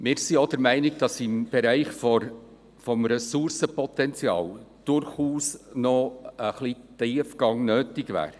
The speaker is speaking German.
Wir sind auch der Meinung, dass im Bereich des Ressourcenpotenzials durchaus noch etwas Tiefgang nötig wäre.